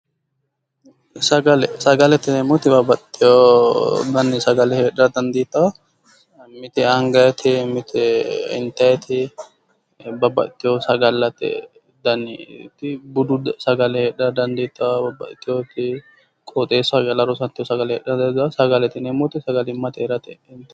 Sagale, sagalete yineemoti babbaxiteyo danni sagale heera dandiitawo mite agayiiti, mite intayiiti babbaxiteyo sagalatte danniti budu sagale heedhara dandiitawo babbaxiteyooti qooxeesaho calla rosato sagale heedhara dandiitawo sagalimate yineemoti sagalimatte calla heeratteti.